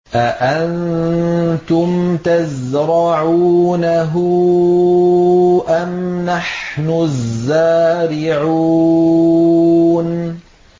أَأَنتُمْ تَزْرَعُونَهُ أَمْ نَحْنُ الزَّارِعُونَ